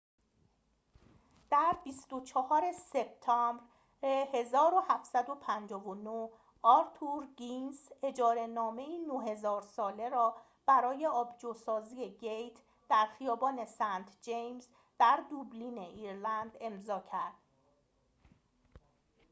در ۲۴ سپتامبر ۱۷۵۹ آرتور گینس اجاره‌نامه‌ای ۹۰۰۰ ساله را برای آبجوسازی گیت در خیابان سنت جیمز در دوبلین ایرلند امضاء کرد